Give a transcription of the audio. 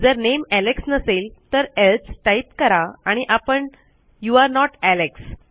जर नामे एलेक्स नसेल तर एल्से टाईप करा आणि आपण यू आरे नोट एलेक्स